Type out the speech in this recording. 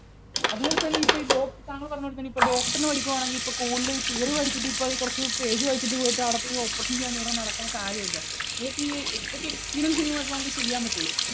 അതുപോലെതന്നെ ഇപ്പോൾ ഈ ഡോക് താങ്കൾ പറഞ്ഞതുപോലെ തന്നെ ഇപ്പോൾ doctor നു പഠിക്കുകയാണെങ്കിൽ ഇപ്പോൾ കൂടുതൽ theory വായിച്ചിട്ട് ഇപ്പോൾ കുറച്ച് page വായിച്ചിട്ട് പോയിട്ട് അവിടെ പോയി operation ചെയ്യുക എന്ന് പറഞ്ഞാൽ നടക്കുന്ന കാര്യമല്ല. ഇതൊക്കെ ഈ ഇതൊക്കെ ഈ experience ൽ നിന്ന് മാത്രമേ നമുക്ക് ചെയ്യാൻ പറ്റൂ.